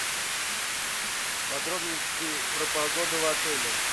подробности про погоду в отеле